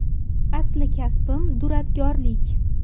Asli kasbim – duradgorlik.